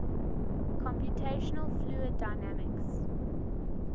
computational fluid dynamics